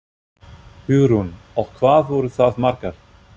Hugrún: Og hvað voru það margar?